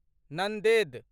Nanded